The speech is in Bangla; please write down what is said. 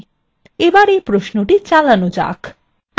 এবার এই প্রশ্নটি চালানো যাক